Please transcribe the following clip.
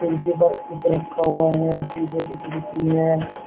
नीचे बैग कुछ रखा हुआ है शीशे की खिड़की है।